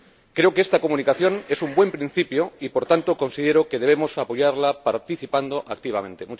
Creo que esta Comunicación es un buen principio y, por tanto, considero que debemos apoyarla participando activamente.